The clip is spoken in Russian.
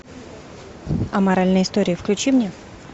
аморальные истории включи мне